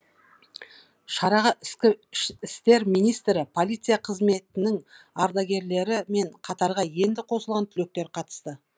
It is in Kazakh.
шараға ішкі істер министрі полиция қызметінің ардагерлері мен қатарға енді қосылған түлектер қатысты